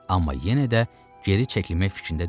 Amma yenə də geri çəkilmək fikrində deyildi.